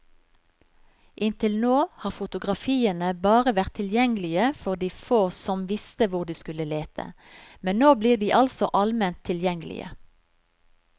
Inntil nå har fotografiene bare vært tilgjengelige for de få som visste hvor de skulle lete, men nå blir de altså alment tilgjengelige.